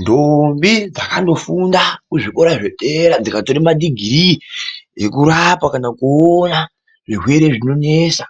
Ndombi dzakandofunda kuzvikora zvedera dzikatore madhigirii ekurapa kana kuona zvirwere zvinonesa